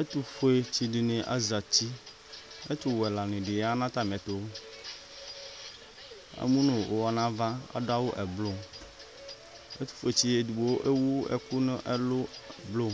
Ɛtufuetsidini aza uti Ɛtuwɛlani di ya nu atami ɛtu Ɛmu nu uwɔ nu ava adu awu ɛblu Ɛtufuetsidi edigbo ewu ɛku nu ɛlu blu